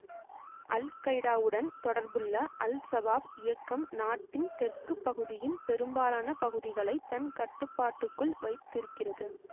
அல்கைடாவுடன் தொடர்புள்ள அல்சபாப் இயக்கம் நாட்டின் தெற்கு பகுதியின் பெரும்பாலான பகுதிகளை தன் கட்டுப்பாட்டுக்குள் வைத்திருக்கிறது